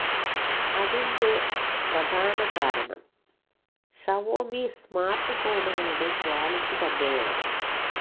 അതിന്റെ പ്രധാന കാരണം ഷവോമി സ്മാർട്ട് ഫോണുകളുടെ ക്വാളിറ്റി തന്നെയാണ്